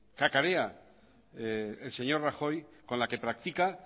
cacarea el señor rajoy con la que práctica